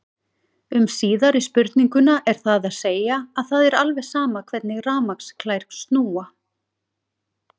Um síðari spurninguna er það að segja að það er alveg sama hvernig rafmagnsklær snúa.